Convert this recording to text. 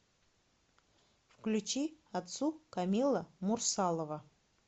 включи отцу камила мурсалова